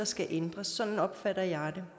skal ændres sådan opfatter jeg det